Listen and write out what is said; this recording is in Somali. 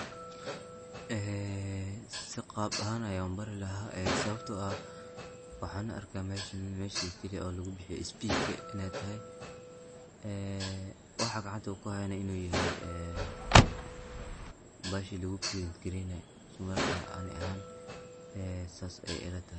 Sii qab ahaan ah ayan ubari laha sawabto ah waxan arka meshan mesha kaliya ee lugubixiyo speach[cs[ in ey tahay waxa gacanta kuhayana inu yahay bahashi lugubrind gareynaye marka ani ahaan sidas ayey ilatahay.